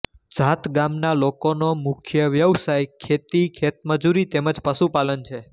ઝાત ગામના લોકોનો મુખ્ય વ્યવસાય ખેતી ખેતમજૂરી તેમ જ પશુપાલન છે